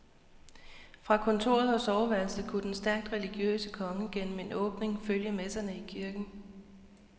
Fra kontoret og soveværelset kunne den stærkt religiøse konge gennem en åbning følge messerne i kirken.